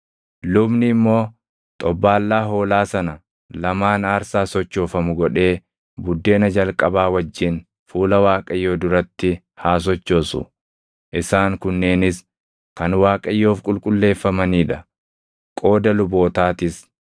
Lubni immoo xobbaallaa hoolaa sana lamaan aarsaa sochoofamu godhee buddeena jalqabaa wajjin fuula Waaqayyoo duratti haa sochoosu. Isaan kunneenis kan Waaqayyoof qulqulleeffamanii dha; qooda lubootaatis.